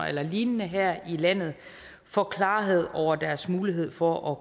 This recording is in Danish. eller lignende her i landet får klarhed over deres mulighed for at